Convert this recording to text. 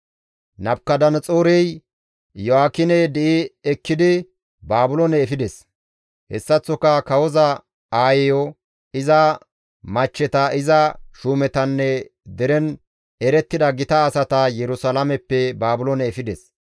Nabukadanaxoorey Iyo7aakine di7i ekkidi Baabiloone efides; hessaththoka kawoza aayeyo, iza machcheta, iza shuumetanne deren erettida gita asata Yerusalaameppe Baabiloone efides.